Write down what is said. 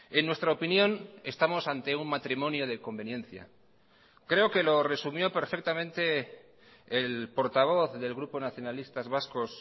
en nuestra opinión estamos ante un matrimonio de conveniencia creo que lo resumió perfectamente el portavoz del grupo nacionalistas vascos